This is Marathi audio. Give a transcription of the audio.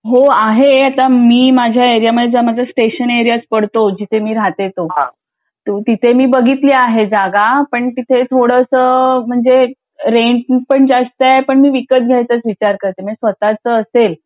हो आहे मी आता माझ्या एरिया मधे स्टेशन एरिया पडतो जिथे मी राहते तो तिथे मी बघितली आहे जागा पण ते थोडंसं रेंट पण जास्त आहे पण मी विकत घ्यायचं विचार करते म्हणजे स्वतचं असेल